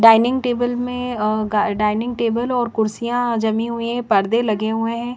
Dining table में अः dining table और कुर्सियां जमी हुई है परदे लगे हुए है।